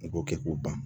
U k'o kɛ k'u ban